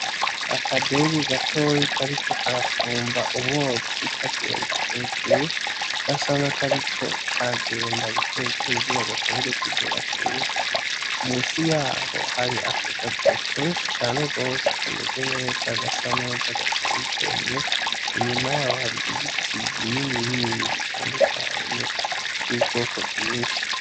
Akadege gatoyi kariko karafumba umwotsi kagenda hejuru gasa nakariko karagenda buke buke kugira gashobore kugera kure munsi yaho hari akagazo kenshi cane gose kameze neza, gasa neza gateye igomwe inyuma yaho hari ibiti binini bitandukanye vyubwoko bwinshi.